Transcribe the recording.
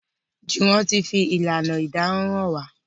Juwon tí fi ìlànà ìdáná hàn wá.